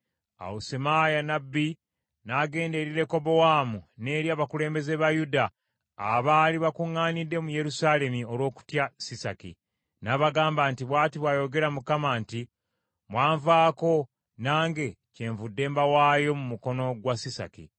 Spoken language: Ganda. Awo Semaaya nnabbi n’agenda eri Lekobowaamu n’eri abakulembeze ba Yuda abaali bakuŋŋaanidde mu Yerusaalemi olw’okutya Sisaki, n’abagamba nti, “Bw’ati bw’ayogera Mukama nti, ‘Mwanvaako, nange kyenvudde mbawaayo mu mukono gwa Sisaki.’ ”